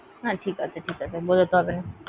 না ঠিক আছে, ঠিক আছে, আর বোঝাতে হবেনা।